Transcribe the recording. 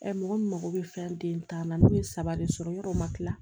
mɔgɔ min mago bɛ fɛn den tan na n'u ye saba de sɔrɔ yɔrɔ ma tila